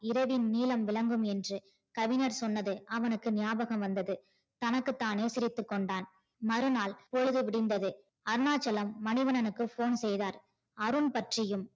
இரவின் நீலம் விளங்கும் என்று கவிஞர் சொன்னது அவனுக்கு ஞாபம் வந்தது தனக்கு தானே சிரித்து கொண்டான் மறுநாள் பொழுது முடிஞ்சது அருணாச்சலம் மணிவண்ணனுக்கு phone செய்தார் அருண் பற்றியும்